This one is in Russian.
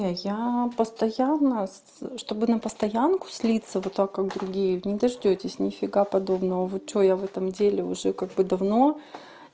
я постоянно чтобы на постоянку слиться вот так как другие не дождётесь нифига подобного вы что я в этом деле уже как бы давно